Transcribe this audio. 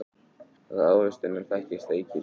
Af ávextinum þekkist eikin.